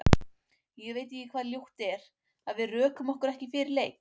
Ég veit ekki hvað ljótt er, að við rökum okkur ekki fyrir leik?